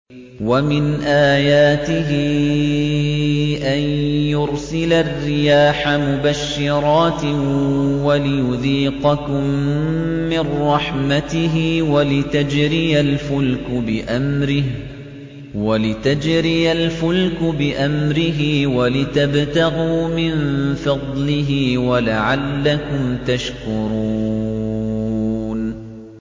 وَمِنْ آيَاتِهِ أَن يُرْسِلَ الرِّيَاحَ مُبَشِّرَاتٍ وَلِيُذِيقَكُم مِّن رَّحْمَتِهِ وَلِتَجْرِيَ الْفُلْكُ بِأَمْرِهِ وَلِتَبْتَغُوا مِن فَضْلِهِ وَلَعَلَّكُمْ تَشْكُرُونَ